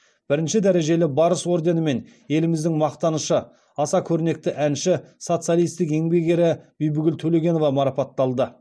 бірінші дәрежелі барыс орденімен еліміздің мақтанышы аса көрнекті әнші социалистік еңбек ері бибігүл төлегенова марапатталды